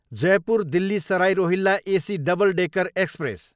Jaipur, Delhi Sarai Rohilla AC double decker express